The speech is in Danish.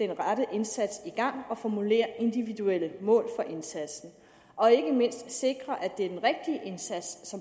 rette indsats i gang og formulere individuelle mål for indsatsen og ikke mindst for at sikre at det er den rigtige indsats